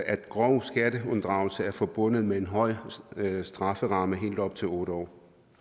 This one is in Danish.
at grov skatteunddragelse er forbundet med en høj strafferamme på helt op til otte år